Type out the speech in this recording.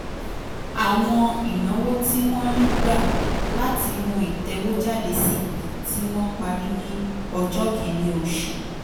àwọn ìnáwó tí wọ́n rí gbà látinú ìtọ́wọ́jáde cp tí wọ́n parí ní ọjọ́ kìíní oṣù